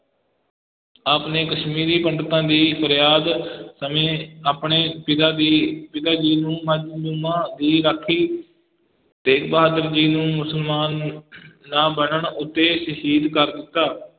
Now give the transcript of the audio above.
ਆਪ ਨੇ ਕਸ਼ਮੀਰੀ ਪੰਡਤਾਂ ਦੀ ਫਰਿਆਦ ਸਮੇਂ ਆਪਣੇ ਪਿਤਾ ਦੀ, ਪਿਤਾ ਜੀ ਨੂੰ ਮਜ਼ਲੂਮਾਂ ਦੀ ਰਾਖੀ, ਤੇਗ ਬਹਾਦਰ ਜੀ ਨੂੰ ਮੁਸਲਮਾਨ ਨਾ ਬਣਨ ਉੱਤੇ ਸ਼ਹੀਦ ਕਰ ਦਿੱਤਾ।